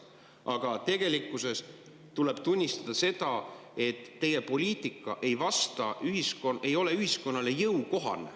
Aga tegelikkuses tuleb tunnistada seda, et teie poliitika ei ole ühiskonnale jõukohane.